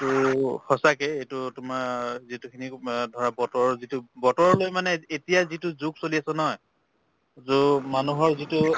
তো সঁচাকে এইটো তোমাৰ যিটো খিনি মা ধৰা বতৰৰ যিটো বতৰৰ লৈ মানে এতিয়া যিটো যুগ চলি আছে নহয় যু মানুহৰ যিটো